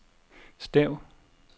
stav